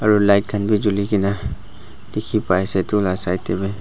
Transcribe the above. aru light khan bi juli kena dikhi pai ase etu la side te bi.